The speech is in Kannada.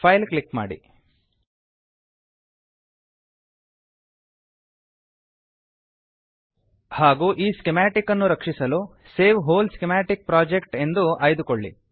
ಫೈಲ್ ಕ್ಲಿಕ್ ಮಾಡಿ ಹಾಗೂ ಈ ಸ್ಕಿಮಾಟಿಕ್ ಅನ್ನು ರಕ್ಷಿಸಲು save whole schematic project save whole schematic project ಎಂದು ಆಯ್ದುಕೊಳ್ಳಿ